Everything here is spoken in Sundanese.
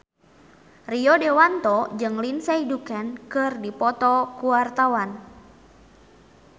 Rio Dewanto jeung Lindsay Ducan keur dipoto ku wartawan